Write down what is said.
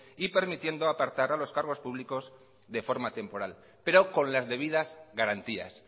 y permitiendo apartar a los cargos públicos de forma temporal pero con las debidas garantías